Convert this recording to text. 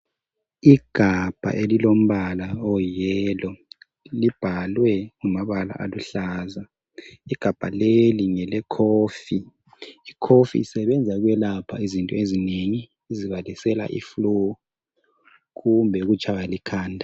Igabha elilombala oyi yellow, libhalwe ngamabala aluhlaza. Igabha leli ngele coffee, icoffee isebenza ukwelapha izinto ezinengi ezibalisela iflu kumbe ukutshaywa likhanda.